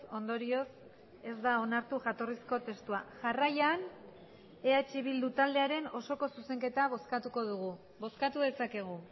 ondorioz ez da onartu jatorrizko testua jarraian eh bildu taldearen osoko zuzenketa bozkatuko dugu bozkatu dezakegu